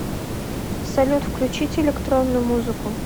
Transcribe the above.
салют включите электронную музыку